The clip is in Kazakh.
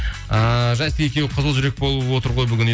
ыыы жасик екеуі қызыл жүрек болып отыр ғой бүгін